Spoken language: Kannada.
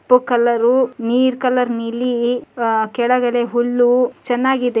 ಪು ಕಲರು ನೀರ್ ಕಲರ್ ನೀಲಿ ಅ ಕೆಳಗಡೆ ಹುಲ್ಲೂ ಚೆನ್ನಾಗಿದೆ.